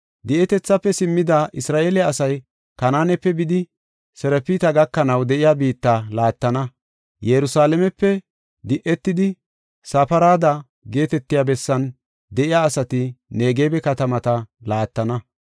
Di7etethafe simmida Isra7eele asay, Kanaanepe bidi Sirafta gakanaw de7iya biitta laattana. Yerusalaamepe de7etidi, Safarada geetetiya bessan de7iya asati Negebe katamata laattana.